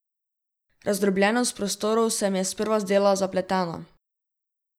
Razdrobljenost prostorov se mi je sprva zdela zapletena.